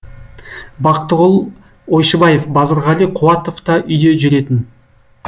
бақтығұл ойшыбаев базарғали қуатов та үйде жүретін